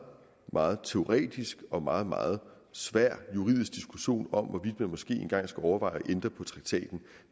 meget teoretisk og meget meget svær juridisk diskussion om hvorvidt man måske engang skal overveje at ændre på traktaten